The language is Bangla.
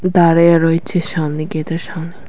দাঁড়ায়া রয়েছে সামনে গেটের সামনে।